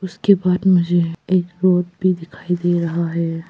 उसके बाद मुझे एक रोड भी दिखाई दे रहा है।